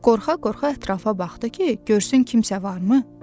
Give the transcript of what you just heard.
Qorxa-qorxa ətrafa baxdı ki, görsün kimsə varmı?